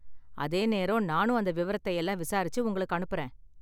அதே நேரம் நானும் அந்த விவரத்தையெல்லாம் விசாரிச்சு உங்களுக்கு அனுப்புறேன்.